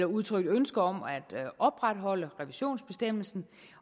udtrykt ønske om at opretholde revisionsbestemmelsen